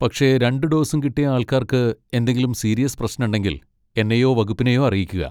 പക്ഷെ രണ്ട് ഡോസും കിട്ടിയ ആൾക്കാർക്ക് എന്തെങ്കിലും സീരിയസ് പ്രശ്നണ്ടെങ്കിൽ എന്നെയോ വകുപ്പിനെയോ അറിയിക്കുക.